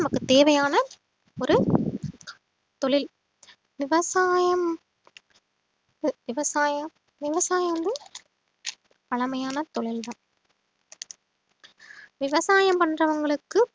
நமக்கு தேவையான ஒரு தொழில் விவசாயம் விவசாயம் விவசாயம் வந்து பழமையான தொழில்தான் விவசாயம் பண்றவங்களுக்கு